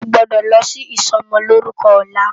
Ó gbòdò lò si isòmòlórúkò òlá